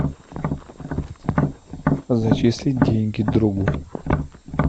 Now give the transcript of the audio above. зачислить деньги другу